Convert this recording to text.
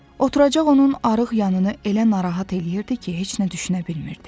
Oturacaq onun arıq yanını elə narahat eləyirdi ki, heç nə düşünə bilmirdi.